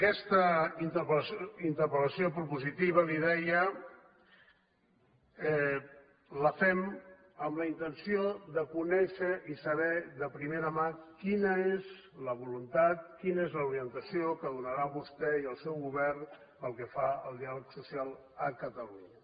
aquesta interpel·lació propositiva li deia la fem amb la intenció de conèixer i saber de primera mà quina és la voluntat quina és l’orientació que donarà vostè i el seu govern pel que fa al diàleg social a catalunya